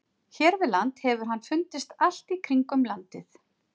Hér við land hefur hann fundist allt í kringum landið.